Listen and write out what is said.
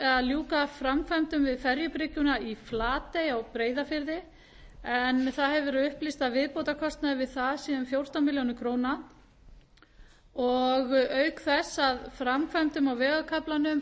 að ljúka framkvæmdum við ferjubryggjuna í flatey á breiðafirði en það hefur verið upplýst að viðbótarkostnaður við það sé um fjórtán milljónir króna og auk þess að framkvæmdum á vegarkaflanum